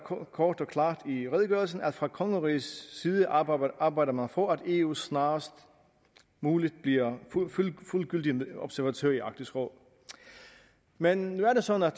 kort og klart i redegørelsen at fra kongerigets side arbejder arbejder man for at eu snarest muligt bliver fuldgyldig observatør i arktisk råd men nu er det sådan